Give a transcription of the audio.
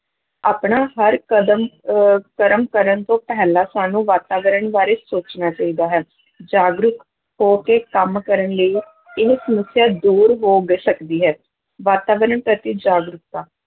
ਆਪਣਾ ਹਰ ਕਦਮ ਅਹ ਕਰਮ ਕਰਨ ਤੋਂ ਪਹਿਲਾਂ ਸਾਨੂੰ ਵਾਤਾਵਰਨ ਬਾਰੇ ਸੋਚਣਾ ਚਾਹੀਦਾ ਹੈ ਜਾਗਰੂਕ ਹੋ ਕੇ ਕੰਮ ਕਰਨ ਲਈ ਇਹ ਸਮੱਸਿਆ ਦੂਰ ਹੋ ਗ ਸਕਦੀ ਹੈ, ਵਾਤਾਵਰਨ ਪ੍ਰਤੀ ਜਾਗਰੂਕਤਾ,